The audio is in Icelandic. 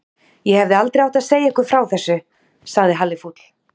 Ég hefði aldrei átt að segja ykkur frá þessu sagði Halli fúll.